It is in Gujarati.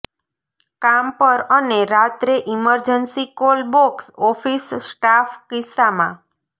કામ પર અને રાત્રે emergency call box office staff કિસ્સામાં